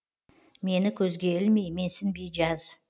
мені көзге ілмей менсінбей жаз